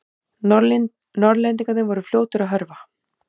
Norðlendingarnir voru fljótir að hörfa.